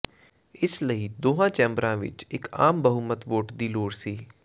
ਇਸ ਲਈ ਦੋਹਾਂ ਚੈਂਬਰਾਂ ਵਿਚ ਇਕ ਆਮ ਬਹੁਮਤ ਵੋਟ ਦੀ ਲੋੜ ਸੀ